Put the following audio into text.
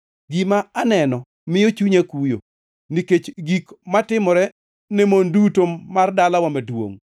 Gima aneno miyo chunya kuyo nikech gik matimore ne mon duto mar dalawa maduongʼ.